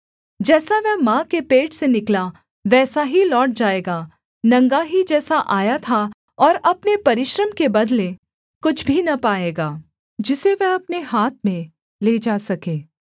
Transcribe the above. जैसा वह माँ के पेट से निकला वैसा ही लौट जाएगा नंगा ही जैसा आया था और अपने परिश्रम के बदले कुछ भी न पाएगा जिसे वह अपने हाथ में ले जा सके